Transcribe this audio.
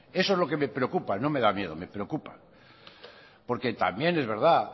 eso es lo que me preocupa no me da miedo me preocupa porque también es verdad